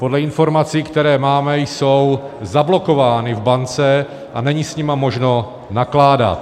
Podle informací, které máme, jsou zablokovány v bance a není s nimi možno nakládat.